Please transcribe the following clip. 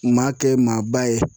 Maa kɛ maaba ye